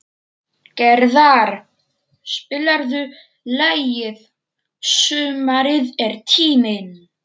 Gerðar, spilaðu lagið „Sumarið er tíminn“.